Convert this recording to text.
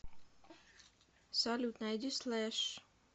салют найди слэш